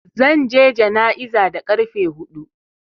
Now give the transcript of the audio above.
Zan je jana'iza da ƙarfe huɗu.